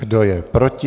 Kdo je proti?